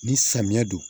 Ni samiya don